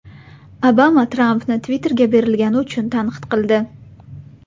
Obama Trampni Twitter’ga berilgani uchun tanqid qildi.